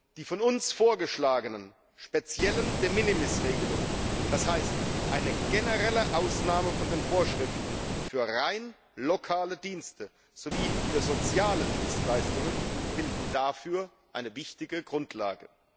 Die von uns vorgeschlagenen speziellen De minimis Regelungen, das heißt eine generelle Ausnahme von den Vorschriften für rein lokale Dienste sowie für soziale Dienstleistungen, bilden dafür eine wichtige Grundlage.